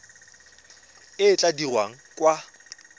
e e tla dirwang kwa